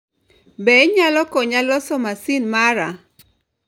Be inyalo konya loso masin mara?